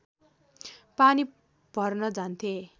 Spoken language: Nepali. पानी भर्न जान्थे